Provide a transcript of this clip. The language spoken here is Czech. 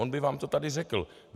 On by vám to tady řekl.